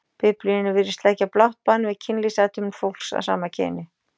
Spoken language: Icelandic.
Biblíunni virðast leggja blátt bann við kynlífsathöfnum fólks af sama kyni.